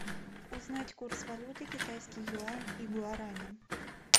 узнать курс валюты китайский юань и гуарани